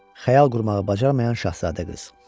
Xəyal qurmağı bacarmayan şahzadə qız.